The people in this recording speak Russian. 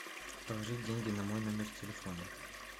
положить деньги на мой номер телефона